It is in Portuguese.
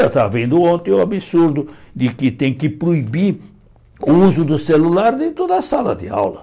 Eu estava vendo ontem o absurdo de que tem que proibir o uso do celular dentro da sala de aula.